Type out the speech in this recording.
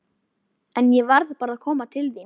En ég varð bara að koma til þín.